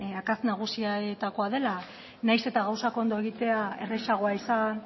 akats nagusienetakoa dela nahiz eta gauzak ondo egitea errazagoa izan